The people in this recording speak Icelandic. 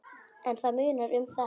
En það munar um þetta.